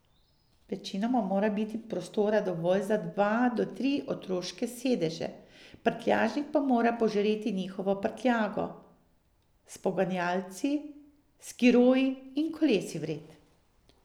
Večinoma mora biti prostora dovolj za dva do tri otroške sedeže, prtljažnik pa mora požreti njihovo prtljago, s poganjalci, skiroji in kolesi vred.